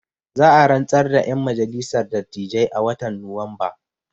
Za a rantsar da ƴan majalissar dattijai a watan nuwamba